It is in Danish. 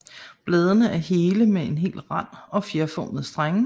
Bladene er hele med hel rand og fjerformede strenge